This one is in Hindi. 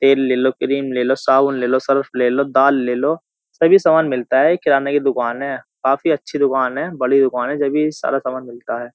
तेल ले लो क्रीम ले लो साबुन ले लो सर्फ ले लो दाल ले लो सभी सामान मिलता है किराने की दुकान है काफी अच्छी दुकान है बड़ी दुकान है जब भी सारा सामान मिलता है।